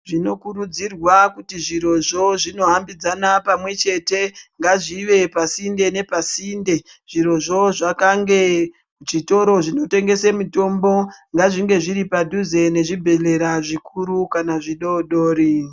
Timokurudzirwa kuti zvirozvo zvinohamba pamwe chete ngazvive pasinde nepasinde zvirozvo zvakange chitora zvinotengesa mitombo ngazvinge zviripaduze nezvibhehlera zvikuru kana zvidoodori.